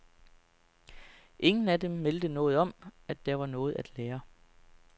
Ingen af dem meldte noget om, at der var noget at lære.